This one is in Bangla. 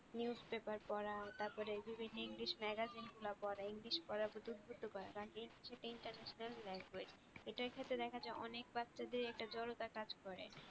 নিউজ পেপার পড়া দুদিন ইংলিশ ম্যাগাজিন পড়া ইংলিশ পড়া কুতুকুতুক করা এটা ক্ষেত্রে দেখা যে অনেক বাচ্চা যেটা জনতা কাজ করে